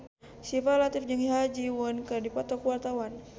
Syifa Latief jeung Ha Ji Won keur dipoto ku wartawan